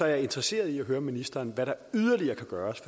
jeg interesseret i at høre ministeren hvad der yderligere kan gøres